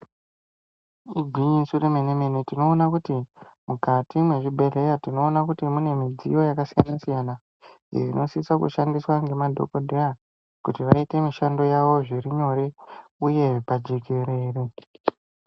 Igwinyiso remene-mene, tinoona kuti mukati mwezvibhedhlera tinoona kuti mune midziyo yakasiyana-siyana inosisa kushandiswa ngemadhokodheya kuti vaite mishando yavo zviri nyore uye pajekerere.